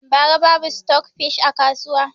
Bara babu stok fish a kasuwa